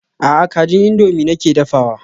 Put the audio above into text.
A'a kajin indomie nake dafawa.